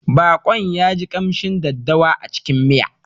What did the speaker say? Baƙon ya ji ƙamshin daddawa a cikin miya.